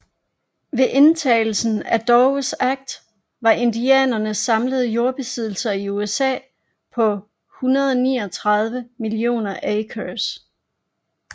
Ved vedtagelsen af Dawes Act var indianernes samlede jordbesiddelser i USA på 139 millioner acres